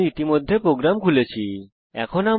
আমি ইতিমধ্যে প্রোগ্রাম খুলে ফেলেছি